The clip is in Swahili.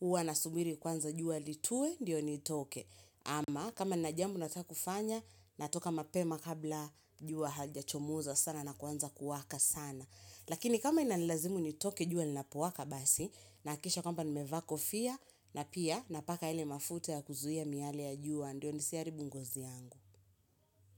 Huwa nasubiri kwanza jua litue, ndio nitoke. Ama, kama nina jambo nataka kufanya, natoka mapema kabla jua halijachomoza sana na kuanza kuwaka sana. Lakini kama inalazimu nitoke jua linapowaka basi, nahakikisha kwamba nimevaa kofia, na pia napaka yale mafuta ya kuzuia miale ya jua, ndio nisiharibu ngozi yangu.